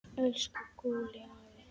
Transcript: Elsku Gúlli afi.